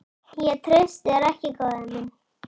Ég treysti þér ekki, góði minn.